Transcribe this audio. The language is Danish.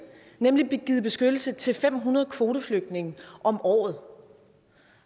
nemlig givet beskyttelse til fem hundrede kvoteflygtninge om året